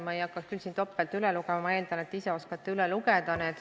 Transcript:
Ma ei hakanud siin neid topelt üles lugema, ma eeldan, et te ise oskate neid leida.